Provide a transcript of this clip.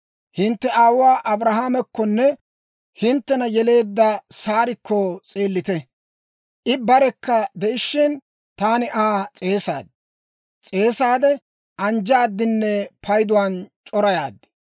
Hintte aawuwaa Abrahaamakkonne hinttena yeleedda Saarikko s'eellite. I barekka de'ishshin, taani Aa s'eesaaddi; anjjaaddinne payduwaan c'orayaaddi.